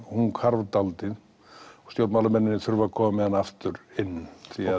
hún hvarf dálítið stjórnmálamennirnir þurfa að koma með hana aftur inn því